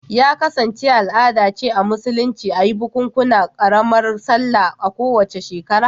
Ya kasance al'ada ce a Musulunci a yi bukukuwan karamar Sallah a kowace shekara